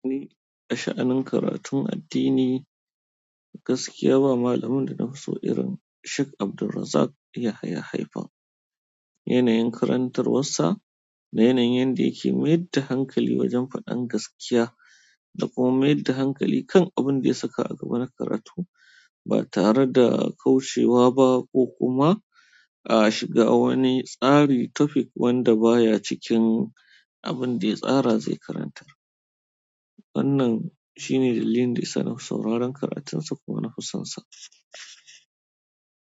Ni a sha'anin karatun addini, gaskiya ba malamin da na fi so irin Sheikh Abdulrazak Yahaya Haifan. Yanayin karantarwarsa da yanayin yadda yake mai da hankali wajen faɗan gaskiya da kuma mai da hankali kan abin da ya saka a gaba na karatu ba tare da kaucewa ba ko kuma a shiga wani tsari topic wanda baya cikin abin ɗaya tsara zai karantar. Wannan shine dalilin dayasa nafi sauraron karatunsa kuma na fisonsa.